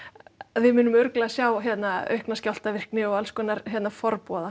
við munum örugglega sjá aukna skjálftavirkni og alls konar